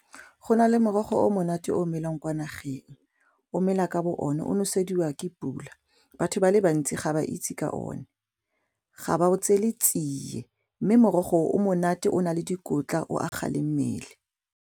Go na le morogo o monate o melang kwa nageng o mela ka bo one o nosediwa ke pula, batho ba le bantsi ga ba itse ka o ne ga ba o tsele tsiye mme morogo o monate o na le dikotla o aga le mmele.